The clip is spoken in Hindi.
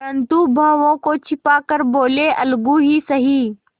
परंतु भावों को छिपा कर बोलेअलगू ही सही